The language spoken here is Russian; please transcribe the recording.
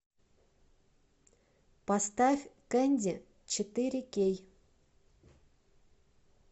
поставь кенди четыре кей